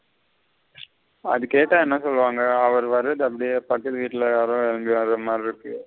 அது கேட்ட என்ன சொலுவாங்க அவரு வரது அப்டியே பக்கத்துக்கு வீட்டுல யாரோ எழும்பி வர மாதிரி இருக்கு.